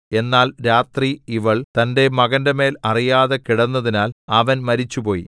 എന്നാൽ രാത്രി ഇവൾ തന്റെ മകന്റെമേൽ അറിയാതെ കിടന്നതിനാൽ അവൻ മരിച്ചുപോയി